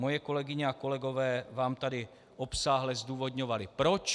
Moje kolegyně a kolegové vám tady obsáhle zdůvodňovali proč.